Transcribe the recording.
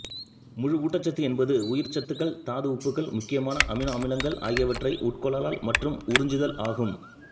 முழு ஊட்டச்சத்து என்பது உயிர்ச்சத்துக்கள் தாது உப்புகள் முக்கியமான அமினோ அமிலங்கள் ஆகியவற்றை உட்கொள்ளல் மற்றும் உறிஞ்சிதல் ஆகும்